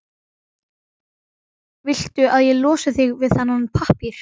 Viltu að ég losi þig við þennan pappír?